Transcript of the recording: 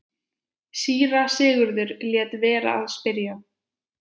Síra Sigurður lét vera að spyrja.